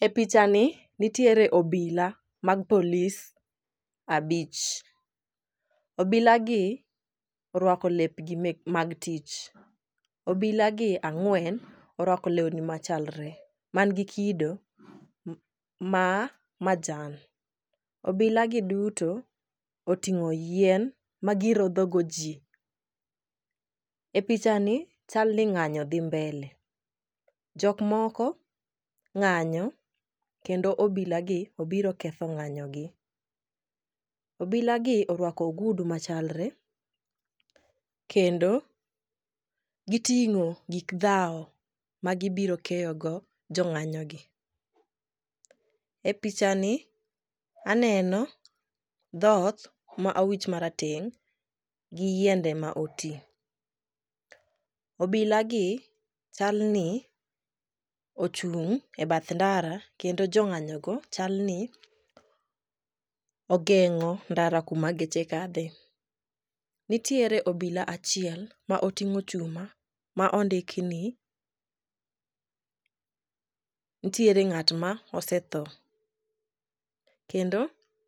E pichani, nitiere obila mag polis abich, obilagi orwako lepgi mag tich. Obilagi ang'wen, orwako lewni machalre man gi kido ma majan, obilagi duto oting'o yien magirodhogo ji. E pichani chal ni ng'anyo dhi mbele. Jok moko ng'anyo kendo obilagi obiro ketho ng'anyo. Obilagi orwako ogudu machalre kendo giting'o gik dhawo ma gibiro keyogo jo ng'anyogi. E pichani ,aneno dhot ma owich marateng' gi yiende ma oti. Obilagi chalni ochung' e bath ndara kendo jo ng'anyogo chalni ogeng'o ndara kuma geche kadhe. Nitiere obila achiel ma oting'o chuma ma ondik ni, nitiere ng'at ma osetho, kendo